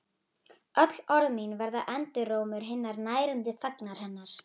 Öll orð mín verða endurómur hinnar nærandi þagnar hennar.